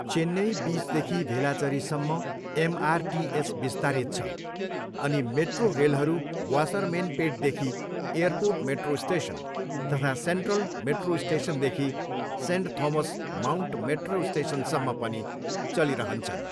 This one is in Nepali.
चेन्नई बिचदेखि भेलाचेरीसम्म एमआरटिएस विस्तारित छ अनि मेट्रो रेलहरू वासरमेनपेटदेखि एयरपोर्ट मेट्रो स्टेसन तथा सेन्ट्रल मेट्रो स्टेसनदेखि सेन्ट थोमस माउन्ट मेट्रो स्टेसनसम्म पनि चलिरहन्छन्।